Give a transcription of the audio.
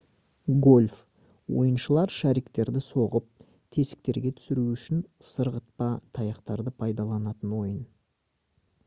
гольф ойыншылар шариктерді соғып тесіктерге түсіру үшін сырғытпа таяқтарды пайдаланатын ойын